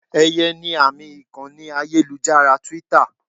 Eye ni àmì ìkànnì ayélujára Twitter.